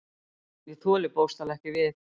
Ég þoli bókstaflega ekki við.